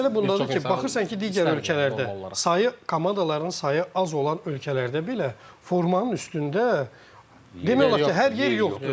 İndi məsələ bundadır ki, baxırsan ki, digər ölkələrdə sayı komandaların sayı az olan ölkələrdə belə formanın üstündə demək olar ki, hər yer yoxdur.